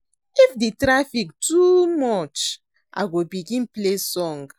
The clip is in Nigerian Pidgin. If di traffic too much, I go begin play song.